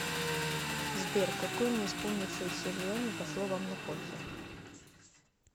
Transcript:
сбер какое не исполнившееся желание пошло вам на пользу